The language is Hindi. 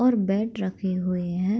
और बैट रखे हुए हैं।